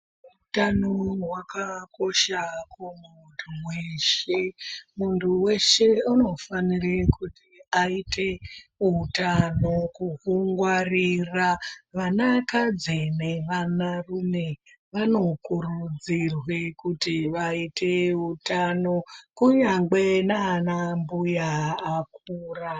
Utano hwakakosha kumundu weshe, mundu weshe unofanire kuti aite utano kuhungwarira, vana kadzi nevana rume, wanokurudzirwe kuti waite utano kunyangwe naana mbuya akura.